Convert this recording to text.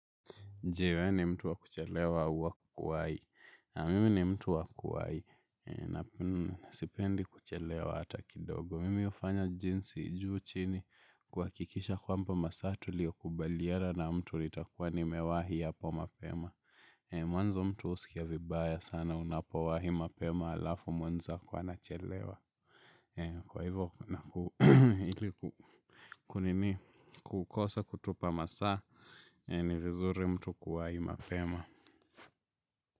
Je wewe ni mtu wa kuchelewa au wa kuwai. Naam mimi ni mtu wa kuwai. Na sipendi kuchelewa hata kidogo. Mimi hufanya jinsi juu chini kuhakikisha kwamba masaa tu lio kubaliera na mtu litakuwa nimewahi ya po mapema. Mwanzo mtu husikia vibaya sana unapo wahi mapema halafu mwenzako anachelewa. Kwa hivyo na kukosa kutupa masaa ni vizuri mtu kuwai mapema.